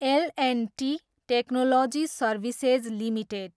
L and T technology services limited